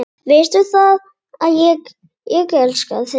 Veistu það, ég elska þig.